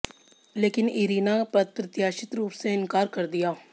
लेकिन इरीना अप्रत्याशित रूप से इनकार कर दिया